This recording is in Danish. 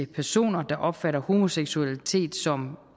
personer der opfatter homoseksualitet som